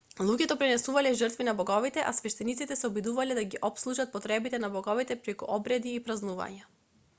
луѓето принесувале жртви на боговите а свештениците се обидувале да ги опслужат потребите на боговите преку обреди и празнувања